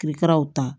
Kirikiraw ta